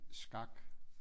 Skak